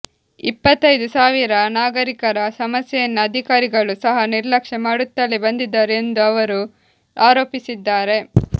ಇಪ್ಪತ್ತೈದು ಸಾವಿರ ನಾಗರಿಕರ ಸಮಸ್ಯೆಯನ್ನು ಅಧಿಕಾರಿಗಳು ಸಹ ನಿರ್ಲಕ್ಷ್ಯ ಮಾಡುತ್ತಲೇ ಬಂದಿದ್ದಾರೆ ಎಂದು ಅವರು ಆರೋಪಿಸಿದ್ದಾರೆ